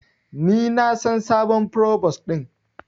Ni na san sabon provos din.